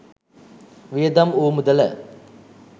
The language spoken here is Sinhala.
වියදම් වූ මුදල